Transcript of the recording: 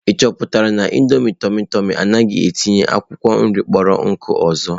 Ị chọpụtala na, nudulu ndị tụmị tụmị anaghị etinyekwa akwụkwọ nri kpọrọ nkụ ọzọ?